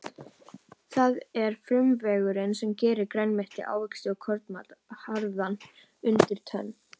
Það er frumuveggurinn sem gerir grænmeti, ávexti og kornmat harðan undir tönn.